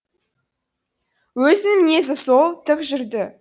өзінің мінезі сол тік жүрді